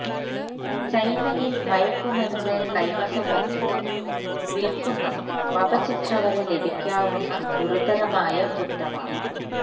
ചൈനയില് മയക്കുമരുന്ന് കൈവശം വയ്ക്കുന്നതും വില്ക്കുന്നതും വധശിക്ഷ വരെ ലഭിക്കാവുന്ന് ഗുരുതരമായ കുറ്റമാണ്